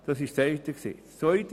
Das ist eine Seite.